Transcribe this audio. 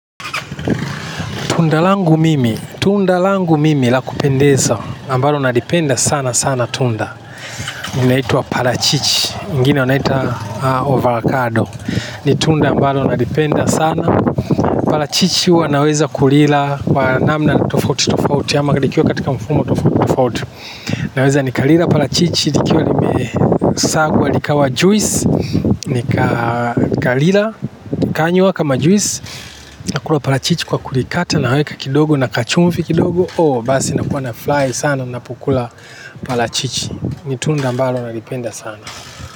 Tunda langu mimi, tunda langu mimi la kupendeza ambalo nalipenda sanasana tunda. Linaitwa parachichi, wengine wanaita avocado. Ni tunda ambalo nalipenda sana. Parachichi huwa naweza kulila kwa namna tofouti-tofouti. Ama likiwa katika mfumo tofouti-tofouti. Naweza nikalila parachichi, likiwa limesagwa likawa juisi. Nikalila, nikanywa kama juisi. Nakula parachichi kwa kulikata na naweka kidogo na kachumvi kidogo ooh basi nakuwa nafurahi sana ninapokula parachichi. Ni tunda ambalo na nalipenda sana.